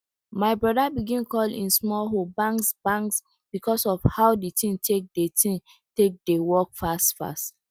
my broda begin call e small hoe bangs bangs because of how the thing take dey thing take dey work fast fast